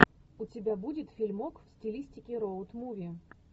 у тебя будет фильмок в стилистике роуд муви